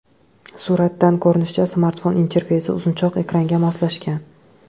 Suratdan ko‘rinishicha, smartfon interfeysi uzunchoq ekranga moslashgan.